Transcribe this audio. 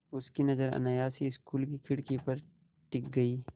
उनकी नज़र अनायास ही स्कूल की खिड़की पर टिक गई